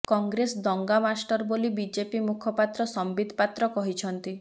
କଂଗ୍ରେସ ଦଙ୍ଗା ମାଷ୍ଟର ବୋଲି ବିଜେପି ମୁଖପାତ୍ର ସମ୍ବିତ ପାତ୍ର କହିଛନ୍ତି